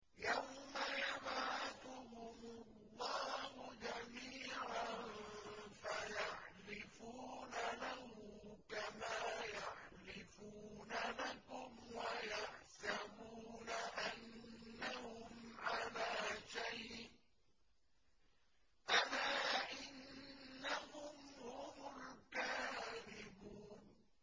يَوْمَ يَبْعَثُهُمُ اللَّهُ جَمِيعًا فَيَحْلِفُونَ لَهُ كَمَا يَحْلِفُونَ لَكُمْ ۖ وَيَحْسَبُونَ أَنَّهُمْ عَلَىٰ شَيْءٍ ۚ أَلَا إِنَّهُمْ هُمُ الْكَاذِبُونَ